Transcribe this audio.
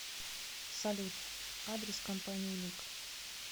салют адрес компании лик